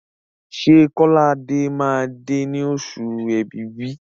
Ṣé Kọ́ládé máa dé ní oṣù Èbìbí?